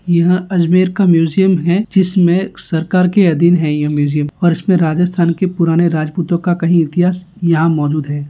यह अजमेर का म्यूज़ीअम हैं जिसमे सरकार के अधीन है ये म्यूजियम और इसमे राजस्थान के पुराने राजपूतों का कही इतिहास यहां मौजूद है।